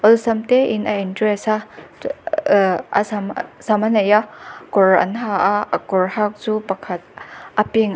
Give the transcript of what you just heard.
awlsam te in address ahh sam sam a nei a kawr an ha a a kawr hak chu pakhat a pink --